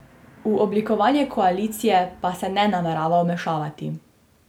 V oblikovanje koalicije pa se ne namerava vmešavati.